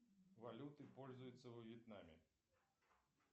валютой пользуются во вьетнаме